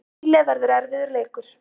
Síle verður erfiður leikur.